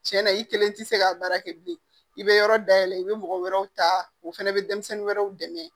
Tiɲɛna i kelen tɛ se ka baara kɛ bilen i bɛ yɔrɔ dayɛlɛ i bɛ mɔgɔ wɛrɛw ta o fana bɛ denmisɛnnin wɛrɛw dɛmɛ